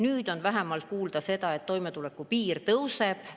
Nüüd on vähemalt kuulda, et toimetulekupiir tõuseb.